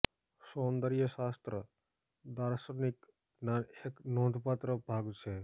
સૌંદર્ય શાસ્ત્ર દાર્શનિક જ્ઞાન એક નોંધપાત્ર ભાગ છે